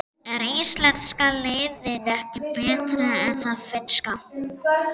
En er íslenska liðið ekki betra en það finnska?